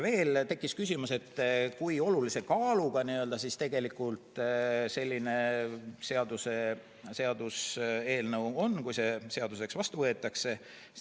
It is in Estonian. Veel tekkis küsimus, kui olulise kaaluga tegelikult see seaduseelnõu on, kui see seadusena vastu võetakse.